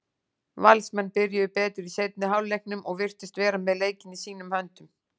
Valsmenn byrjuðu betur í seinni hálfleiknum og virtust vera með leikinn í sínum höndum.